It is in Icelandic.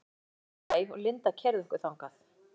Hann bjó í öðrum bæ og Linda keyrði okkur þangað.